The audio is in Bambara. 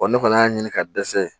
Wa ne kɔni y'a ɲini ka dɛsɛ